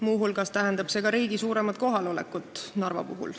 Muu hulgas tähendab see ka riigi suuremat kohalolekut Narvas.